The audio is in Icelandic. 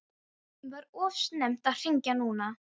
Var of snemmt að hringja núna?